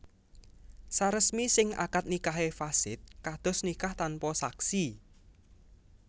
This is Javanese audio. Saresmi sing akad nikahé fasid kados nikah tanpa saksi